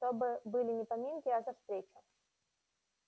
чтобы были не поминки а за встречу